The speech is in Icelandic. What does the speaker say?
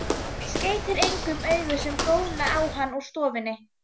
Skeytir engu um augu sem góna á hann úr stofunni.